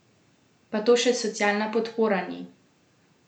Pa to še socialna podpora ni!